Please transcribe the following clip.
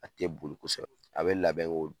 A tɛ boli kosɛbɛ, a bɛ labɛn